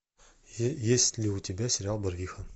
есть ли у тебя сериал барвиха